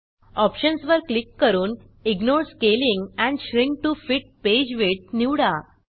options वर click करून ignore scaling and shrink to fit page width निवडा